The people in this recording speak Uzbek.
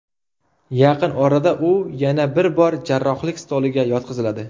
Yaqin orada u yana bir bor jarrohlik stoliga yotqiziladi.